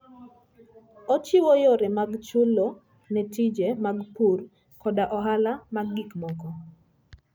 Ochiwo yore mag chulo ne tije mag pur koda ohala mag gik moko.